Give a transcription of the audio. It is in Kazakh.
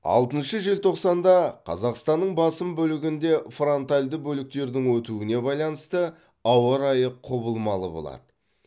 алтыншы желтоқсанда қазақстанның басым бөлігінде фронтальді бөліктердің өтуіне байланысты ауа райы құбылмалы болады